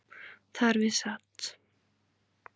Þar við sat